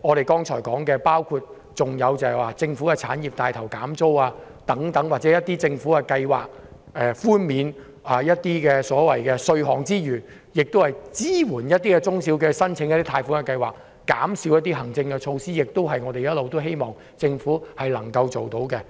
我們剛才所說的建議，包括帶頭為政府產業削減租金，政府寬免稅項外，亦應推出支援中小企的貸款計劃，以及減少部分行政措施等，這些均是我們一直希望政府能夠推行的。